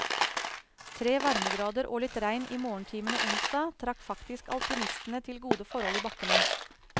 Tre varmegrader og litt regn i morgentimene onsdag, trakk faktisk alpinistene til gode forhold i bakkene.